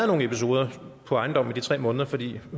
nogen episoder på ejendommen i de tre måneder fordi